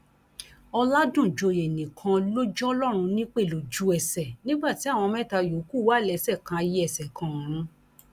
ọládúnjọyé nìkan ló jọlọrun nípẹ lójúẹsẹ nígbà tí àwọn mẹta yòókù wà lẹsẹ kan ayé ẹsẹ kan ọrun